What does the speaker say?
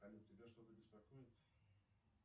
салют тебя что то беспокоит